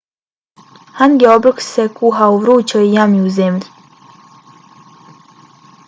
hangi obrok se kuha u vrućoj jami u zemlji